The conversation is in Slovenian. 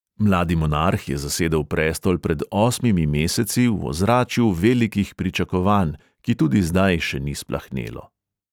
Mladi monarh je zasedel prestol pred osmimi meseci v ozračju velikih pričakovanj, ki tudi zdaj še ni splahnelo.